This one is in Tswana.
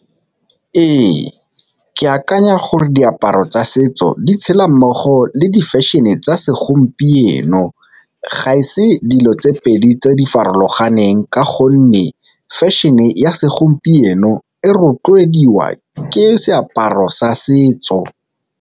Re, ke akanya gore diaparo tsa setso di tshela mmogo le di-fashion-e tsa segompieno ga e se dilo tse pedi tse di farologaneng, ka gonne fashion-e ya segompieno e rotloediwa ke seaparo sa setso.